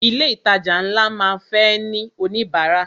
Ilé ìtajà ńlá máa ń fẹ́ ní oníbárà.